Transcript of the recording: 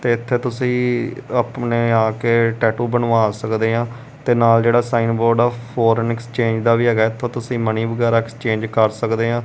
ਤੇ ਇੱਥੇ ਤੁਸੀਂ ਆਪਣੇ ਆ ਕੇ ਟੈਟੂ ਬਣਵਾ ਸਕਦੇ ਆਂ ਤੇ ਨਾਲ ਜਿਹੜਾ ਸਾਈਨ ਬੋਰਡ ਆ ਫੋਰੇਨ ਐਕਸਚੇਂਜ ਦਾ ਵੀ ਹੈਗਾ ਐ ਇੱਥੋਂ ਤੁਸੀਂ ਮਨੀ ਵਗੈਰਾ ਐਕਸਚੇਂਜ ਕਰ ਸਕਦੇ ਆਂ।